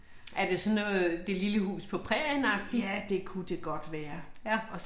Er det sådan noget, Det lille hus på prærien-agtigt? Ja